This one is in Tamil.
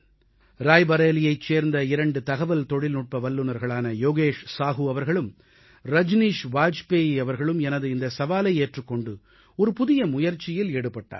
ராய்பரேலியைச் சேர்ந்த 2 தகவல் தொழில்நுட்ப வல்லுநர்களான யோகேஷ் சாஹூ அவர்களும் ரஜனீஷ் வாஜ்பேயி அவர்களும் எனது இந்த சவாலை ஏற்றுக் கொண்டு ஒரு புதிய முயற்சியில் ஈடுபட்டார்கள்